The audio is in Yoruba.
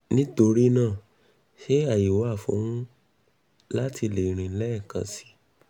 nitorina ṣe aye wa fun lati le rin lẹẹkan si?